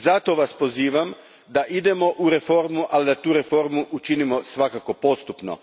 Zato vas pozivam da idemo u reformu, ali da tu reformu učinimo svakako postupno.